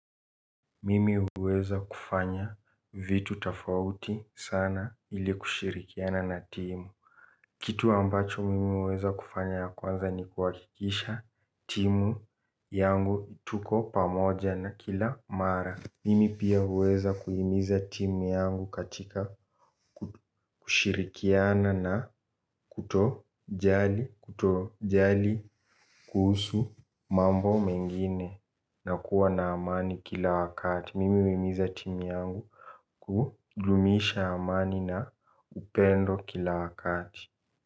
Mimi huweza kufanya vitu tofauti sana ili kushirikiana na timu. Kitu ambacho mimi huweza kufanya ya kwanza ni kuhakikisha timu yangu tuko pamoja na kila mara. Mimi pia huweza kuhimiza timu yangu katika kushirikiana na kutojali kutojali kuhusu mambo mengine na kuwa na amani kila wakati. Mimi huhimiza timu yangu kudumisha amani na upendo kila wakati.